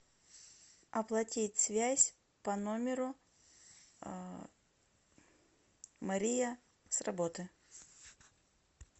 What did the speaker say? оплатить связь по номеру мария с работы